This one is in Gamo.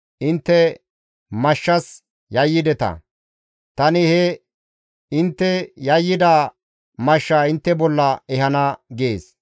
Intte mashshas yayyideta; tani he intte yayyida mashshaa intte bolla ehana› gees.